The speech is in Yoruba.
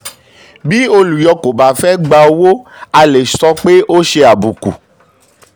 bí olùyọ kò bá fẹ gba fẹ gba owó a lè sọ pé ó ṣe àbùkù.